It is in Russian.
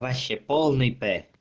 вообще полный п